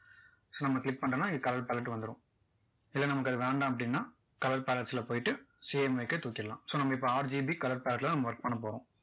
so நம்ம click பண்ணிட்டோன்னா colour palette வந்துரும் இல்ல நமக்கு அது வேண்டாம் அப்படின்னா colour palette ல போயிட்டு CMYK தூக்கிரலாம் so நம்ம வந்து இப்போ RGB colour palette ல நம்ம work பண்ண போறோம்